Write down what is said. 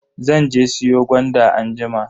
Zan je siyo gwanda anjima.